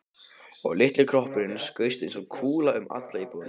Og litli kroppurinn skaust eins og kúla um alla íbúðina.